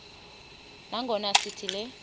nangona sithi le